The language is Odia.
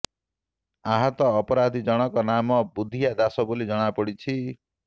ଆହତ ଅପରାଧୀ ଜଣକ ନାମ ବୁଧିଆ ଦାସ ବୋଲି ଜଣାପଡିଛି